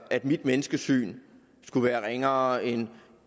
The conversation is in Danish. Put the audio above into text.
at mit menneskesyn skulle være ringere end